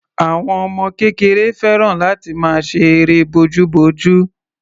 Àwọn ọmọ kékeré fẹ́ràn láti máa ṣe eré bojúbojú.